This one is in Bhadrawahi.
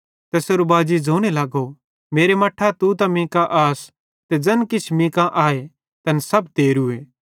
तैसेरो बाजी ज़ोने लगो मेरा मट्ठां तू त मीं का आस ते ज़ैन किछ मीं कांए तैन सब तेरूए